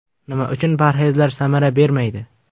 Nima uchun parhezlar samara bermaydi?.